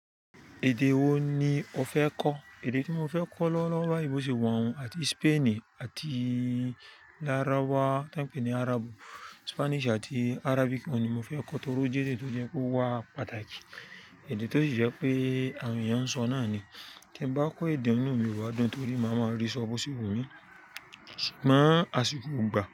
Èdè wo ni o fẹ́ kọ̀? Èdè tí mo fẹ́ kọ́ lọ́wọ́lọ́wọ́ báyìí, bó ṣe wọ̀n wun àti Spainì àti láráwà tań pè ní Arab, Spanish àti Arabic, oun ni mo fẹ́ kọ́ torí ó jẹ́ èdè tó jẹ́ kó wà pàtàkì. Èdè tó sì jẹ́ pé àwọn èèyàn ń sọ náà ni. Tí ẹ bá kọ́ èdè inu mi o ba dùn torí máa ma rí sọ́ọ̀ bo ṣe wu mi ṣùgbọ́n asiko o gba.